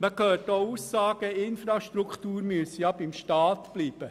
Man hört auch Aussagen, die Infrastruktur müsse beim Staat bleiben.